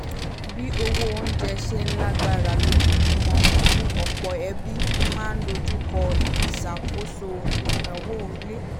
bí owó onjẹ ṣe ń lágbára lójoojúmọ́ ọ̀pọ̀ ẹbí máa n dojú kọ́ ìṣàkóso ináwó ilé